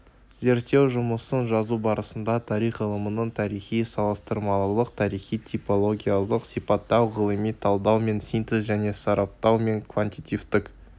зерттеу жұмысын жазу барысында тарих ғылымының тарихи салыстырмалылық тарихи типологиялық сипаттау ғылыми талдау мен синтез және сараптау мен квантитативтік